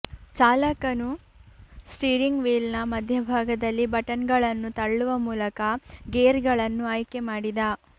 ಚಾಲಕನು steering ವೀಲ್ನ ಮಧ್ಯಭಾಗದಲ್ಲಿ ಬಟನ್ಗಳನ್ನು ತಳ್ಳುವ ಮೂಲಕ ಗೇರ್ಗಳನ್ನು ಆಯ್ಕೆಮಾಡಿದ